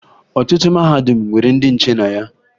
Ọtụtụ mahadum nwere ndị nche na ya